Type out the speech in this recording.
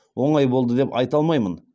оңай болды деп айта алмаймын